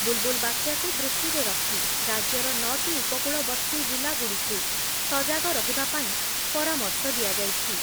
ବୁଲ୍ ବୁଲ୍ ବାତ୍ୟାକୁ ଦୃଷ୍ଟିରେ ରଖି ରାଜ୍ୟର ନଅଟି ଉପକୂଳବର୍ତ୍ତୀ ଜିଲ୍ଲାଗୁଡ଼ିକୁ ସଜାଗ ରହିବା ପାଇଁ ପରାମର୍ଶ ଦିଆଯାଇଛି।